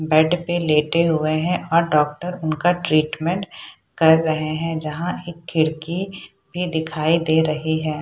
Bed पे लेटे हुए है और डॉक्टर उनका ट्रीटमेंट कर रहे है जहां एक खिड़की भी दिखाई दे रही है।